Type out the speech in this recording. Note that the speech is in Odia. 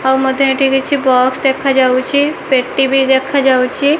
ଆଉ ମତେ ଏଠି କିଛି ବସ୍ ଦେଖାଯାଉଚି ପେଟି ବି ଦେଖାଯାଉଚି ।